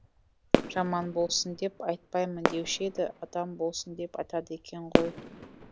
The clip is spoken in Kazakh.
жаман болсын деп айтпаймын деуші еді адам болсын деп айтады екен ғой